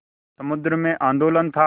समुद्र में आंदोलन था